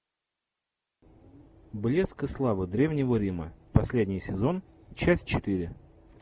блеск и слава древнего рима последний сезон часть четыре